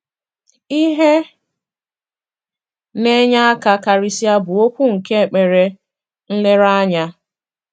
Ihe na-enye aka karịsịa bụ okwu nke ekpere nlereanya.